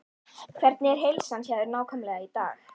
Hvernig er heilsan hjá þér nákvæmlega í dag?